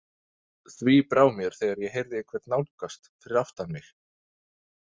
Því brá mér þegar ég heyrði einhvern nálgast fyrir aftan mig.